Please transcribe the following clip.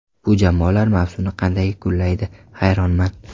Bu jamoalar mavsumni qanday yakunlaydi, hayronman.